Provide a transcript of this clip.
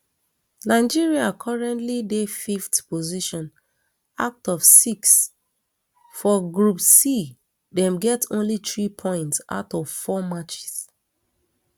nigeria currently um dey fiveth position out of six for um group c dem get only three points out of four matches